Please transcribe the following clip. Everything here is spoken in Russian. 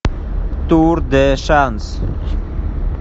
тур де шанс